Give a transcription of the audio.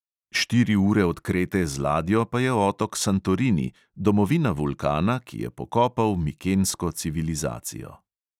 Štiri ure od krete z ladjo pa je otok santorini, domovina vulkana, ki je pokopal mikensko civilizacijo.